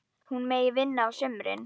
Hún megi vinna á sumrin.